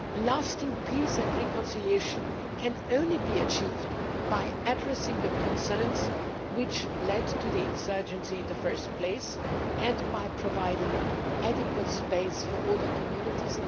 Lasting peace and reconciliation can only be achieved by addressing the concerns which led to the insurgency in the first place and by providing adequate space for all the communities.